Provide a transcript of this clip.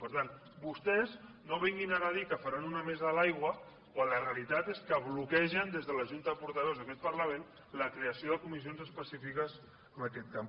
per tant vostès no vinguin ara a dir que faran una mesa de l’aigua quan la realitat és que bloquegen des de la junta de portaveus d’aquest parlament la creació de co missions específiques en aquest camp